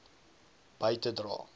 by te dra